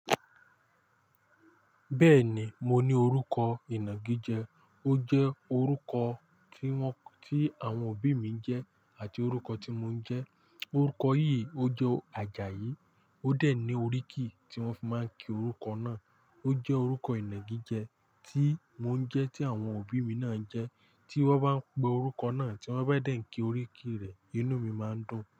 Bẹ́ẹ̀ ni, mo ní orúkọ Ìnàgijẹ. Ó jẹ́ orúkọ tí wọ́n, tí àwọn òbí mi ń jẹ́ àti orúkọ tí mo ń jẹ́. Orúkọ yìí ó jo Àjàyí, ó dẹ̀ ní oríkì tí wọ́n fi máa ń kí orúkọ náà. Ó jẹ́ orúkọ Ìnàgijẹ tí mò ń jẹ́, tí àwọn òbí mi náà ń jẹ́. Tí wọ́n bá ń pe orúkọ náà, tí wọ́n bá dẹ̀ ń kí oríkì rẹ̀, inú mi máa ń dùn.